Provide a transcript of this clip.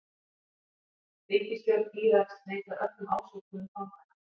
Ríkisstjórn Íraks neitar öllum ásökunum fanganna